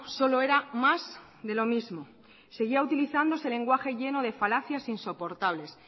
solo era más de lo mismo seguía utilizándose lenguaje lleno de falacias insoportables